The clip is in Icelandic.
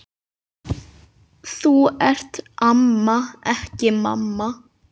Þú ert amma, ekki mamma.